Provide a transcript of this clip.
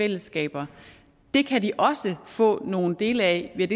fællesskaber det kan de også få nogle dele af ved